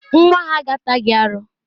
Nwa ha ga-ata gị aru.